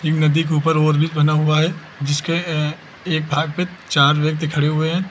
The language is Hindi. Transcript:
नदी के ऊपर ओवर ब्रिज बना हुआ है जिसके एं एं एक भाग पे चार व्यक्ति खड़े हुए हैं तीन--